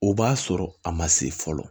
O b'a sɔrɔ a ma se fɔlɔ